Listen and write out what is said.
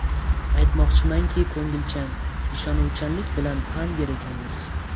Aytmoqchimanki, ko‘ngilchan, ishonuvchanlik bilan pand yer ekanmiz.